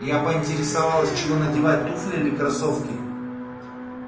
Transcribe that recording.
я поинтересовалась чего надевать туфли или кроссовки